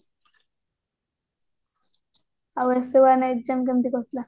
ଆଉ ସବୁ ମାନେ exam କେମିତି କଟିଲା